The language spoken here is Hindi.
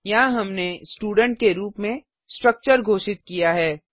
यहाँ हमने स्टूडेंट के रूप में स्ट्रक्चर घोषित किया है